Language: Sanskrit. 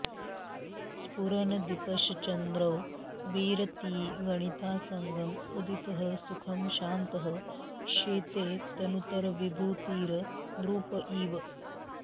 स्फुरन् दीपश् चन्द्रो विरतिवनितासङ्गम् उदितः सुखं शान्तः शेते तनुतरविभूतिर् नृप इव